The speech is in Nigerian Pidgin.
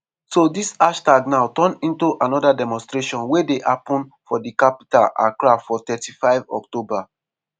so dis hashtag now turn into another demonstration wey dey happun for di capital accra from 3-5 october.